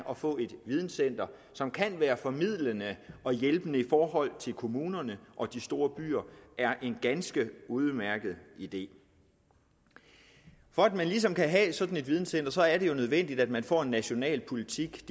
at få et videncenter som kan være formidlende og hjælpende i forhold til kommunerne og de store byer er en ganske udmærket idé for at man ligesom kan have sådan et videncenter er det jo nødvendigt at man får defineret en national politik